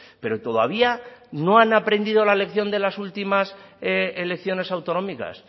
pero todavía no han aprendido la lección de las últimas elecciones autonómicas